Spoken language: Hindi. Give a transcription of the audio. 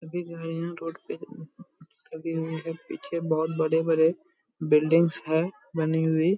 अभी जो है यहाँ रोड पे पीछे बहुत बड़े-बड़े बिल्डिंग्स है बनी हुई।